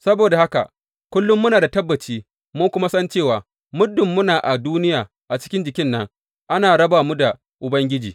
Saboda haka, kullum muna da tabbaci mun kuma san cewa, muddin muna a duniya cikin jikin nan, ana raba mu da Ubangiji.